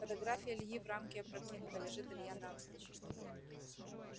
фотография ильи в рамке опрокинута лежит илья навзничь